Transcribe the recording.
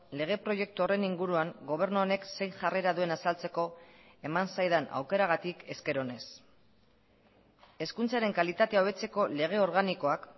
lege proiektu horren inguruan gobernu honek zein jarrera duen azaltzeko eman zaidan aukeragatik esker onez hezkuntzaren kalitatea hobetzeko lege organikoak